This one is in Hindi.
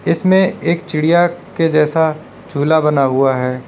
इसमें एक चिड़िया के जैसा झूला बना हुआ है।